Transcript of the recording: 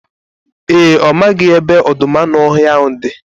Ee, ọ maghị ebe ọdọụmụanụọhịa ahụ dị